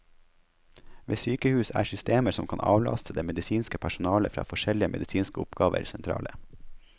Ved sykehus er systemer som kan avlaste det medisinske personalet fra forskjellige medisinske oppgaver, sentrale.